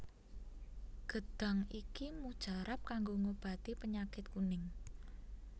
Gêdhang iki mujarab kanggo ngobati pênyakit kuning